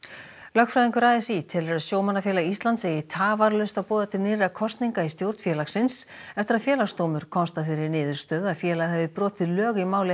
lögfræðingur a s í telur að Sjómannafélag Íslands eigi tafarlaust að boða til nýrra kosninga í stjórn félagsins eftir að Félagsdómur komst að þeirri niðurstöðu að félagið hafi brotið lög í máli